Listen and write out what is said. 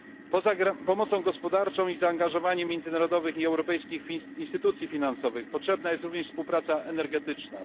Poza pomocą gospodarczą i zaangażowaniem międzynarodowych i europejskich instytucji finansowych potrzebna jest również współpraca energetyczna.